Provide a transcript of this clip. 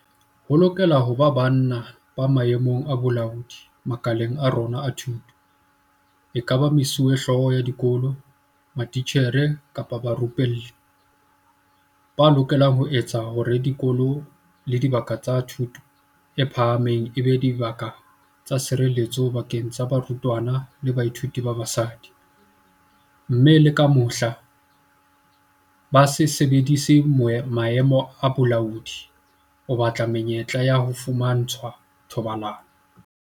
Ho lokela ho ba banna ba maemong a bolaodi makaleng a rona a thuto, ekaba mesuwehlooho ya dikolo, matitjhere kapa barupelli, ba lokelang ho etsa hore dikolo le dibaka tsa thuto e phahameng e be dibaka tse sireletsehileng bakeng sa barutwana le bathuiti ba basadi, mme le ka mohla, ba se sebedise maemo a bolaodi ho batla menyetla ya ho fumantshwa thobalano.